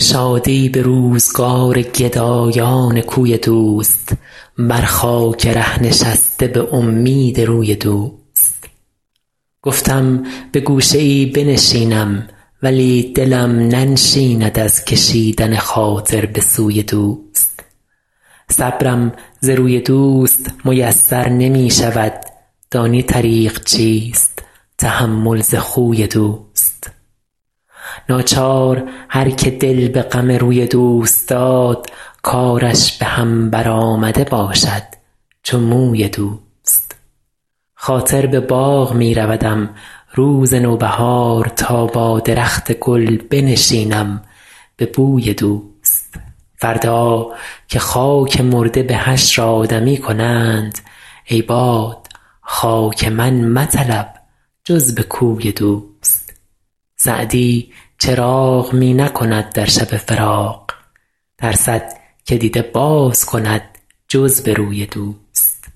شادی به روزگار گدایان کوی دوست بر خاک ره نشسته به امید روی دوست گفتم به گوشه ای بنشینم ولی دلم ننشیند از کشیدن خاطر به سوی دوست صبرم ز روی دوست میسر نمی شود دانی طریق چیست تحمل ز خوی دوست ناچار هر که دل به غم روی دوست داد کارش به هم برآمده باشد چو موی دوست خاطر به باغ می رودم روز نوبهار تا با درخت گل بنشینم به بوی دوست فردا که خاک مرده به حشر آدمی کنند ای باد خاک من مطلب جز به کوی دوست سعدی چراغ می نکند در شب فراق ترسد که دیده باز کند جز به روی دوست